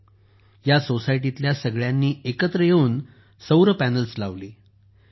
यानंतर या सोसायटीतील सगळ्यांनी एकत्र येऊन सौर पॅनेल्स लावले